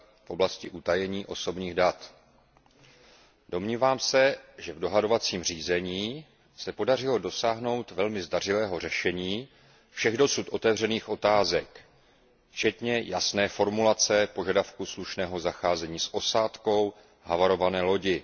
v oblasti utajení osobních dat. Domnívám se, že v dohodovacím řízení se podařilo dosáhnout velmi zdařilého řešení všech dosud otevřených otázek včetně jasné formulace požadavku slušného zacházení s osádkou havarované lodi.